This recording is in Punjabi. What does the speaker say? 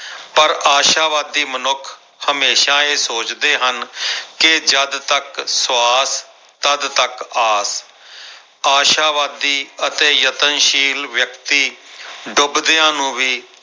ਪਰ ਆਸ਼ਾਵਾਦੀ ਮਨੁੱਖ ਹਮੇਸ਼ਾ ਇਹ ਸੋਚਦੇ ਹਨ ਕਿ ਜਦ ਤੱਕ ਸਵਾਸ ਤੱਦ ਤੱਕ ਆਸ ਆਸ਼ਾਵਾਦੀ ਅਤੇ ਯਤਨਸ਼ੀਲ ਵਿਅਕਤੀ ਡੁਬਦਿਆਂ ਨੂੰ ਵੀ